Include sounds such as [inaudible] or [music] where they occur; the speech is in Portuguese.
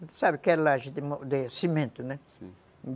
Você sabe o que é laje [unintelligible] de cimento, né? Sim.